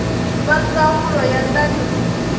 va ndzawulo ya ta le